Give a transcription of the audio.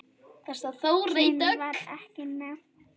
Kyn var ekki nefnt.